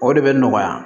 O de bɛ nɔgɔya